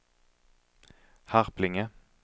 Harplinge